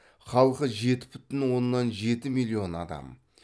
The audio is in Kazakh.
халқы жеті бүтін оннан жеті миллион адам